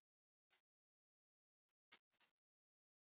Aðeins vatnasvæði og hæstu fjöll voru skóglaus.